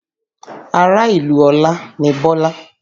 Ará ìlú Ọlá ni Bọ́lá